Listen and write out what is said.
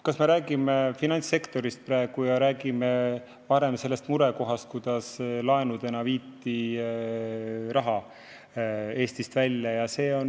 Kas me räägime praegu finantssektorist ja sellest varasemast murekohast, kui laenudena viidi raha Eestist välja?